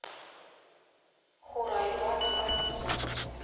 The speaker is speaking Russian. хурайбат ас сук